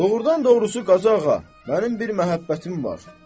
Doğrudan doğrusu, Qazıağa, mənim bir məhəbbətim var.